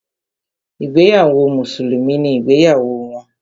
Ìgbéyàwó mùsùlùmí ni ìgbéyàwó wọn.